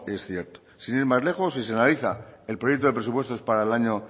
es cierto sin ir más lejos si se analiza el proyecto de presupuestos para el año